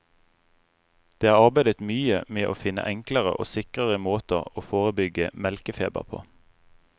Det er arbeidet mye med å finne enklere og sikrere måter å forebygge melkefeber på.